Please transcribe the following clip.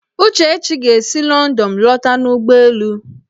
Uchechi ga-esi Lọndọn lọta n'ụgbọelu